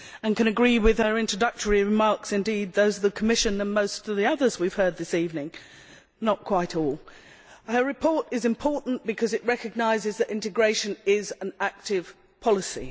I can agree with her introductory remarks and, indeed, those of the Commission and most of the others we have heard this evening, though not quite all. Her report is important because it recognises that integration is an active policy.